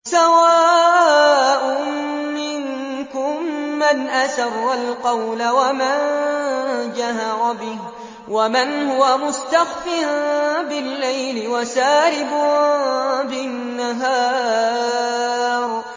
سَوَاءٌ مِّنكُم مَّنْ أَسَرَّ الْقَوْلَ وَمَن جَهَرَ بِهِ وَمَنْ هُوَ مُسْتَخْفٍ بِاللَّيْلِ وَسَارِبٌ بِالنَّهَارِ